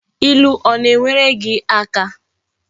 Ilu o na enwere gi aka?